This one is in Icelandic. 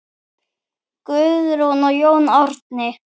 Guðrún og Jón Árni.